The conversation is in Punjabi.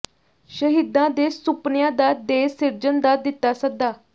ਸ਼ਹੀਦਾਂ ਦੇ ਸੁਪਨਿਆਂ ਦਾ ਦੇਸ਼ ਸਿਰਜਣ ਦਾ ਦਿੱਤਾ ਸੱਦਾ